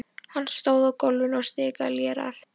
Hann stóð á gólfinu og stikaði léreft.